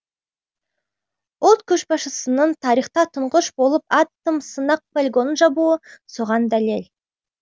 ұлт көшбасшысының тарихта тұңғыш болып атом сынақ полигонын жабуы соған дәлел